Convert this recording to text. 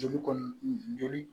Joli kɔni joli